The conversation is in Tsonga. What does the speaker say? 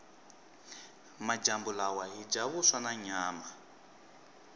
majambu lawa hhija vuswa nanyama